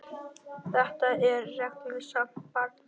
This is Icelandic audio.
Þetta er reglusamt barn.